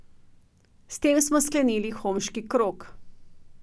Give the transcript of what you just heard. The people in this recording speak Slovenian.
S tem smo sklenili Homški krog .